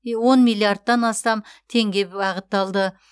он миллиардтан астам теңге бағытталды